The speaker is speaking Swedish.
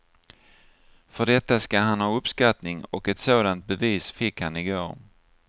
För detta ska han ha uppskattning och ett sådant bevis fick han igår.